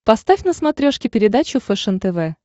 поставь на смотрешке передачу фэшен тв